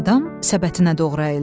Adam səbətinə doğru əyildi.